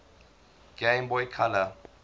game boy color